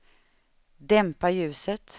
dämpa ljuset